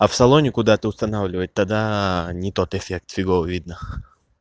а в салоне куда-то устанавливать тогда не тот эффект фигово видно